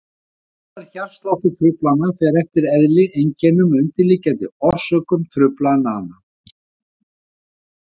Meðferð hjartsláttartruflana fer eftir eðli, einkennum og undirliggjandi orsökum truflana.